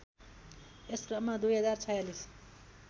यस क्रममा २०४६